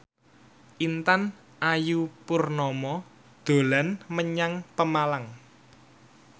Intan Ayu Purnama dolan menyang Pemalang